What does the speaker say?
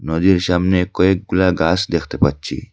নদীর সামনে কয়েকগুলা গাস দেখতে পাচ্ছি।